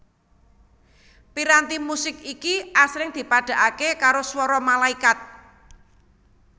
Piranti musik iki asring dipadhakaké karo swara malaikat